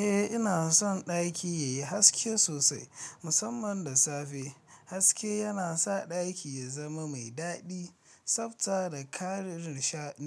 Eh, ina son ɗaki yayi haske sosai, musamman da safe. Haske yana sa ɗaki ya zama mai daɗi, tsabta da ƙarin